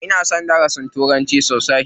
Ina son darasin turanci sosai.